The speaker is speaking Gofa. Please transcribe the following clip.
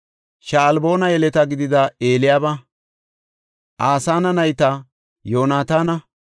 Sha7alboona yeleta gidida Eliyaaba, Asana nayta, Yoonataana,